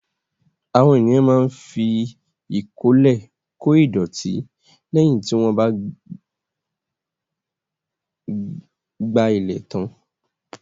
Àwọn ènìyàn máa ń fi ìkọ́lẹ̀ kô ìdọ̀tí lẹ́yìn tí wọ́n bá ìgbálẹ̀ tán.